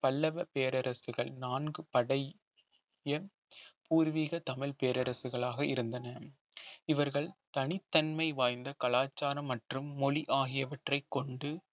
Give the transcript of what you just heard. பல்லவ பேரரசுகள் நான்கு படை பூர்வீக தமிழ் பேரரசுகளாக இருந்தன இவர்கள் தனித்தன்மை வாய்ந்த கலாச்சாரம் மற்றும் மொழி ஆகியவற்றை கொண்டு